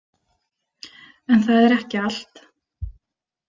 En það er ekki allt.